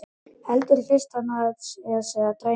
Heldur fyrst að hana sé að dreyma.